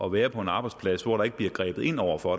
at være på en arbejdsplads hvor der ikke bliver grebet ind over for